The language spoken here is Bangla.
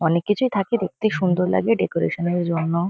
অনেক কিছুই থাকে। দেখতে সুন্দর লাগে ডেকোরেশন -এর জন্য।